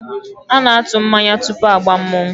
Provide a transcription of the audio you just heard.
A na-atụ mmanya tupu agbaa mmọnwụ